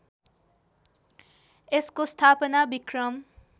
यसको स्थापना विक्रम